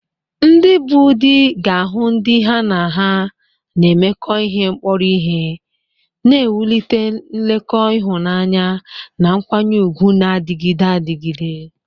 Ndị bụ́ di ga-ahụ ndị ha na ha na-emekọ ihe kpọrọ ihe, na-ewulite nkekọ ịhụnanya na nkwanye ùgwù na-adịgide adịgide.